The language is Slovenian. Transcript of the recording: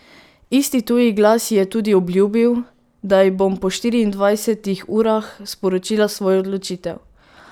Isti tuji glas ji je tudi obljubil, da ji bom po štiriindvajsetih urah sporočila svojo odločitev.